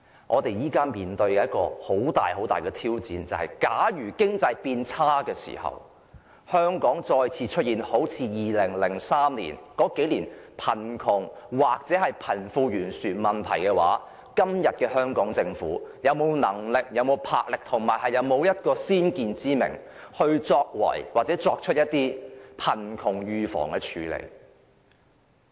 我們現時面對很大的挑戰，假如經濟變差，香港再次出現2003年及其後數年的貧窮或貧富懸殊問題，香港政府會否有能力、魄力及先見之明，預防及處理貧窮問題？